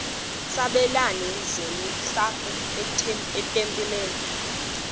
sabelani zenihlal etempileni